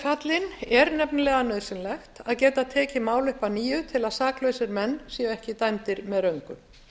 fallinn er nefnilega nauðsynlegt að geta tekið mál upp að nýju til að saklausir menn séu ekki dæmdir með röngu